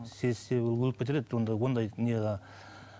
сезсе ол өліп кетер еді онда ондай